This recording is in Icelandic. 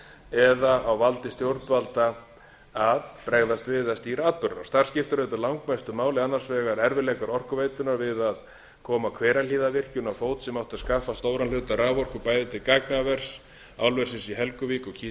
eða á valdi stjórnvalda að bregðast við eða stýra atburðarás þar skiptir auðvitað langmestu máli annars var erfiðleikar orkuveitunnar við að koma hverahlíðarvirkjun á fót sem átti að skaffa stóran hluta raforku bæði til gagnavers álversins í helguvík og